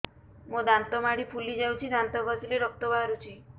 ମୋ ଦାନ୍ତ ମାଢି ଫୁଲି ଯାଉଛି ଦାନ୍ତ ଘଷିଲେ ରକ୍ତ ବାହାରୁଛି